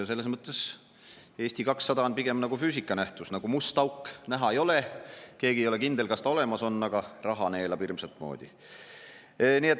Selles mõttes on Eesti 200 pigem nagu füüsikanähtus, nagu must auk: näha ei ole, keegi ei ole kindel, kas ta olemas on, aga raha neelab hirmsat moodi.